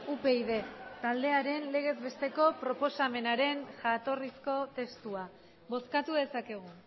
upyd taldearen legez besteko proposamenaren jatorrizko testua bozkatu dezakegu